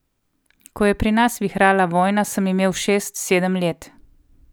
Ko je pri nas vihrala vojna, sem imel šest, sedem let.